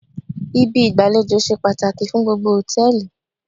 Ibi ìgbàlejò ṣe pàtàkì fún gbogbo hòtẹ́ẹ̀lì